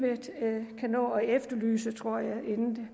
kan nå at efterlyse tror jeg inden